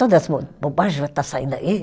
Toda essa bo bobagem vai estar saindo aí?